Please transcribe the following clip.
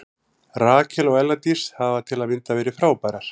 Rakel og Ella Dís hafa til að mynda verið frábærar.